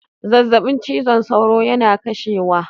Zazzabin cizon sauro yana kashewa